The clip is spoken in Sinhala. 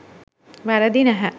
වැරදි නැහැ.